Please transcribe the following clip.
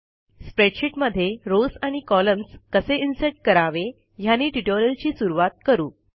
स्प्रडेशीटमध्ये rows आणि columns कसे insert करावे ह्यानी ट्युटोरियलची सुरूवात करू